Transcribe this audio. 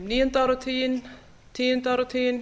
níunda áratuginn tíunda áratuginn